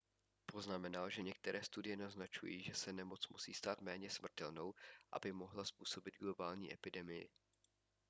poznamenal že některé studie naznačují že se nemoc musí stát méně smrtelnou aby mohla způsobit globální epidemii